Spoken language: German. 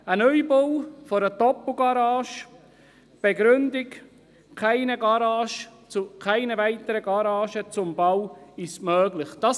Der Neubau einer Doppelgarage wird nicht bewilligt, mit der Begründung, dass der Bau einer weiteren Garage nicht möglich ist.